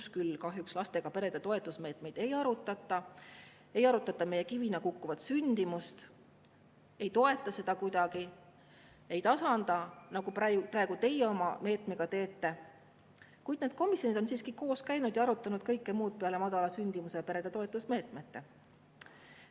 Seal küll kahjuks lastega perede toetusmeetmeid ei arutata, ei arutata meie kivina kukkuvat sündimust, ei toetata seda kuidagi, ei tasandata, nagu praegu teie oma meetmega teete, kuid need komisjonid on siiski koos käinud ja arutanud kõike muud peale madala sündimuse ja perede toetusmeetmete.